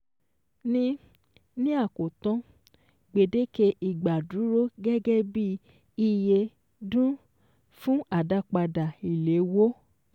Ní Ní àkótán, gbèdéke ìgbà dúró gẹ́gẹ́ bí iye dún fún àdápadà ìléwó